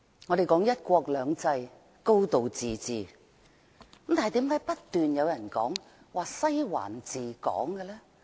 我們說"一國兩制"、"高度自治"，但為甚麼不斷有人說"西環治港"？